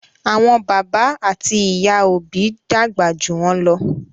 Àwọn bàbá àti ìyá òbí dàgbà jù wọn ló.